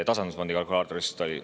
Tasandusfondi kalkulaatorist oli?